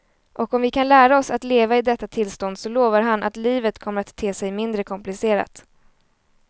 Och om vi kan lära oss att leva i detta tillstånd så lovar han att livet kommer att te sig mindre komplicerat.